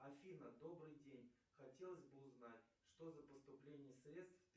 афина добрый день хотелось бы узнать что за поступление средств